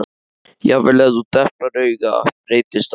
Jafnvel ef þú deplar auga breytist það.